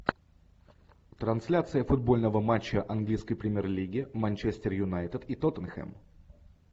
трансляция футбольного матча английской премьер лиги манчестер юнайтед и тоттенхэм